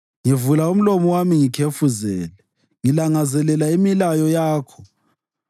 Ngivula umlomo wami ngikhefuzele, ngilangazelela imilayo yakho.